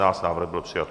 Návrh byl přijat.